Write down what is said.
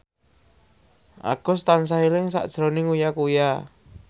Agus tansah eling sakjroning Uya Kuya